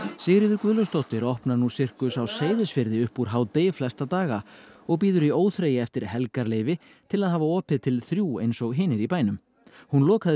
Sigríður Guðlaugsdóttir opnar nú Sirkus á Seyðisfirði upp úr hádegi flesta daga og bíður í óþreyju eftir helgarleyfi til að hafa opið til þrjú eins og hinir í bænum hún lokaði